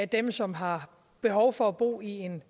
dem som har behov for bo i en